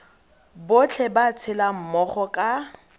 botlhe ba tshelang mmogo ka